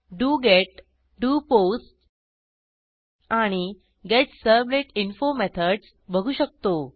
डोगेत do post आणि get servlet info methods बघू शकतो